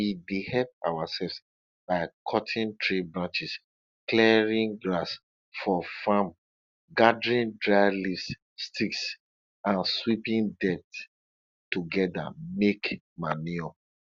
we dey help ourselves by cutting tree branches clearing grass for farm gathering dry leaves sticks and sweeping dirt together make manure